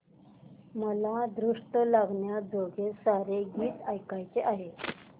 मला दृष्ट लागण्याजोगे सारे हे गीत ऐकायचे आहे